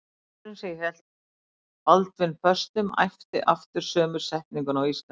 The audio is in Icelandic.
Maðurinn sem hélt Baldvin föstum æpti aftur sömu setninguna á íslensku.